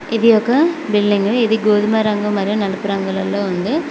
ఇది ఒక బిల్డింగు ఇది గోధుమ రంగు మరియు నలుపు రంగులలో ఉంది.